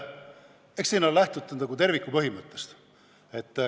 Eks siin on lähtutud terviku põhimõttest.